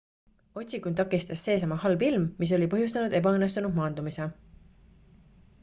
otsingut takistas seesama halb ilm mis oli põhjustanud ebaõnnestunud maandumise